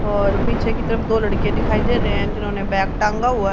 और पीछे की तरफ दो लड़के दिखाई दे रहे हैं जिन्होंने बैग टांगा हुआ--